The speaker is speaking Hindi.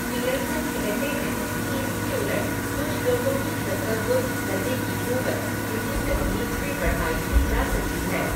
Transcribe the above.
पियर्सन कहते हैं, कि इसके उलट, कुछ लोगों की तसव्वुर करने की कूवत, इसी तकनीक से बढ़ाई भी जा सकती है.